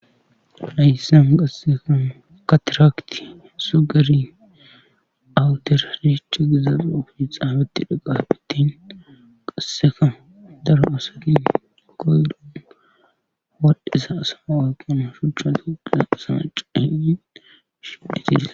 Hayssan qassekan katirakti sugari awuter ne cigizaloi xaabatti dhaqaabittin qasseka dara usati koydan wadhesa asama waqona shuchchata wodhesa asama caani shihetirsa